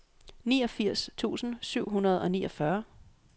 niogfirs tusind syv hundrede og niogfyrre